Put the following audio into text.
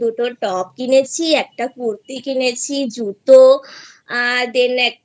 দুটো Top কিনেছি একটা কুর্তি কিনেছি জুতো আ Then